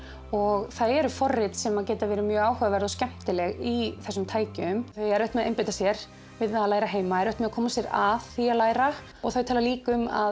og það eru forrit sem geta verið mjög áhugaverð og skemmtileg í þessum tækjum þau eiga erfitt með að einbeita sér við það að læra heima erfitt með að koma sér að því að læra og þau tala líka um að